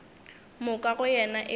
moka go yena e be